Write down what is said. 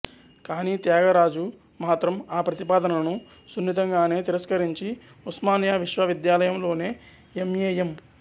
కానీ త్యాగరాజు మాత్రం ఆ ప్రతిపాదనను సున్నితంగానే తిరస్కరించి ఉస్మానియా విశ్వవిద్యాలయంలోనే ఎం ఎ ఎం